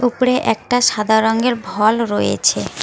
ওপরে একটা সাদা রঙের ভল রয়েছে।